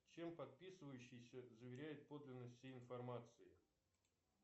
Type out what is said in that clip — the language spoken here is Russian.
чем подписывающийся заверяет подлинность всей информации